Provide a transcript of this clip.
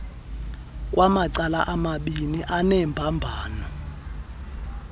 kwamacala amabiini anembambano